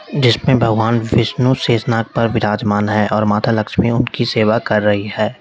जिसमें भगवान विष्णु शेषनाग पर विराजमान है और माता लक्ष्मी उनकी सेवा कर रही है।